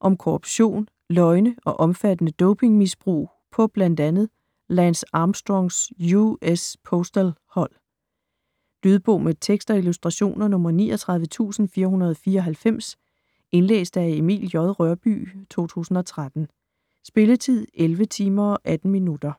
Om korruption, løgne og omfattende dopingmisbrug på blandt andet Lance Armstrongs US Postal hold. Lydbog med tekst og illustrationer 39494 Indlæst af Emil J. Rørbye, 2013. Spilletid: 11 timer, 18 minutter.